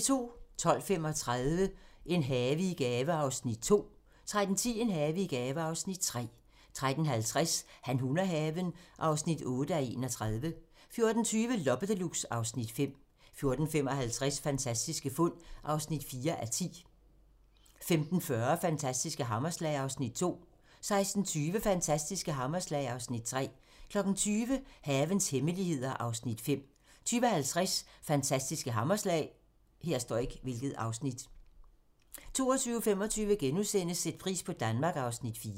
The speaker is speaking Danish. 12:35: En have i gave (Afs. 2) 13:10: En have i gave (Afs. 3) 13:50: Han, hun og haven (8:31) 14:20: Loppe Deluxe (Afs. 5) 14:55: Fantastiske fund (4:10) 15:40: Fantastiske hammerslag (Afs. 2) 16:20: Fantastiske hammerslag (Afs. 3) 20:00: Havens hemmeligheder (Afs. 5) 20:50: Fantastiske hammerslag 22:25: Sæt pris på Danmark (Afs. 4)*